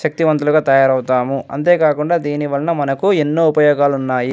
శక్తి వంతులుగా తయారవుతాము అంతే కాకుండా దీనివలన మనకు ఎన్నో ఉపయోగాలు ఉన్నాయ్.